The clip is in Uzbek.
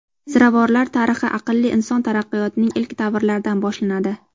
Ziravorlar tarixi aqlli inson taraqqiyotining ilk davrlaridan boshlanadi.